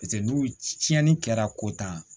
paseke n'u tiɲɛni kɛra ko tan